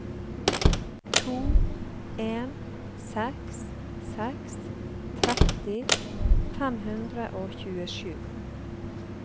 to en seks seks tretti fem hundre og tjuesju